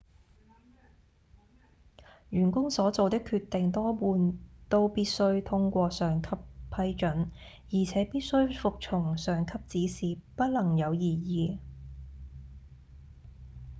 員工所做的決定多半都必須通過上級批准而且必須服從上級指示不能有異議